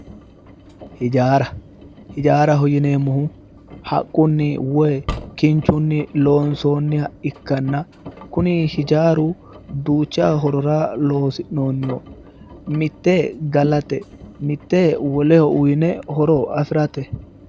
Hijaara hijaaraho yineemohu haqquni woyi kinichunni loonisoonniha ikkana kuni hijaaru Duucha horora loosi'nooni mitte galate mitte woleho uyine horo afirate